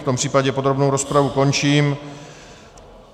V tom případě podrobnou rozpravu končím.